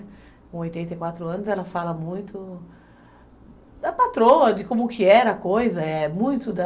Com oitenta e quatro anos, ela fala muito da patroa, de como que era a coisa, é muito da...